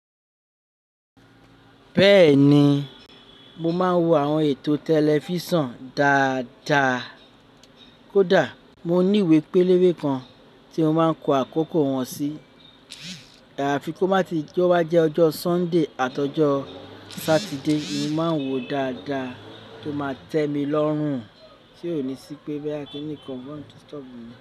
Bẹ́ẹ̀ni, mo máa ń wo àwọn ètò tẹlifísàn dáadáa kódà mo ní ìwé pélébé kan tí mo máa ń kọ àkókò wọn sí. Àfi kó má tí tó bá jẹ́ ọjọ́ Sunday àti ọjọ́ Saturday, mo máa ń wòó dáadáa tó máa tẹ́mi lọ́rùn. Tí ò ní sí pé bóyá kiníkan mo disturb mi.